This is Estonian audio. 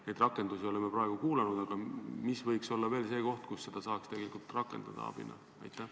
Me neid rakendusi oleme praegu kuulnud, aga mis võiks olla veel see koht, kus seda abinõu saaks tegelikult veel rakendada?